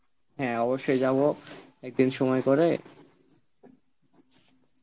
হ্যাঁ অবশ্যই যাবো একদিন সময় করে